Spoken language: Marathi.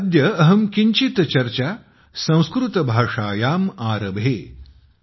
अद्य अहं किञ्चित् चर्चा संस्कृत भाषायां आरभे ।